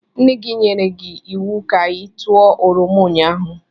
Nne-gi nyere gi iwu ka i tuo oroma ụnyaahụ!